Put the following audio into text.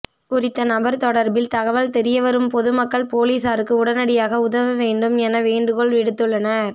குறித்த நபர் தொடர்பில் தகவல் தெரியவரும் பொதுமக்கள் பொலிசாருக்கு உடனடியாகஉதவ வேண்டும் எனவும் வேண்டுகோள் விடுத்துள்ளனர்